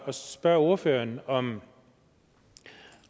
spørge ordføreren om